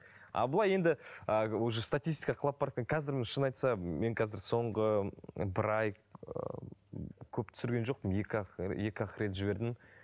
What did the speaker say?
а былай енді а уже статистика құлап қазір шын айтса мен қазір соңғы бір ай ыыы көп түсірген жоқпын екі ақ екі ақ рет жібердім